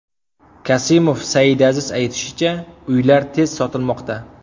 Kasimov Saidazizning aytishicha, uylar tez sotilmoqda.